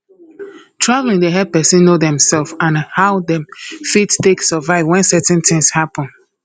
travelling dey help person know themself and how dem fit take survive when certain tins happen